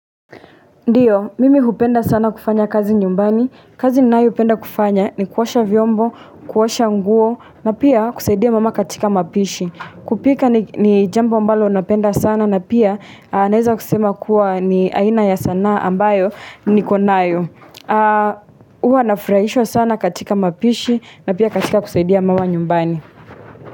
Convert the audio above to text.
Ndio, mimi hupenda sana kufanya kazi nyumbani. Kazi ninayoipenda kufanya ni kuosha vyombo, kuosha nguo, na pia kusaidia mama katika mapishi. Kupika ni jambo ambalo napenda sana, na pia naeza kusema kuwa ni aina ya sanaa ambayo nikonayo. Huwa nafurahishwa sana katika mapishi, na pia katika kusaidia mama nyumbani.